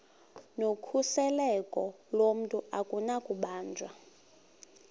nokhuseleko lomntu akunakubanjwa